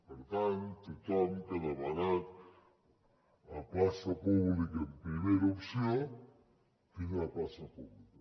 per tant tothom que ha demanat plaça pública en primera opció tindrà plaça pública